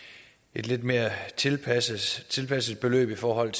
et lidt mere tilpasset tilpasset beløb i forhold